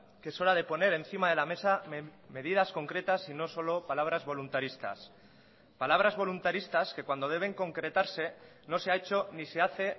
que es hora de poner encima de la mesa medidas concretas y no solo palabras voluntaristas palabras voluntaristas que cuando deben concretarse no se ha hecho ni se hace